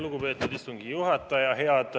Lugupeetud istungi juhataja!